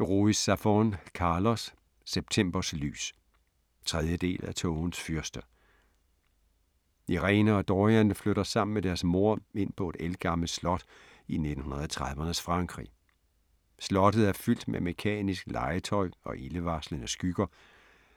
Ruiz Zafón, Carlos: Septembers lys 3. del af Tågens fyrste. Irene og Dorian flytter sammen med deres mor ind på et ældgammelt slot i 1930'ernes Frankrig. Slottet er fyldt med mekanisk legetøj og ildevarslende skygger,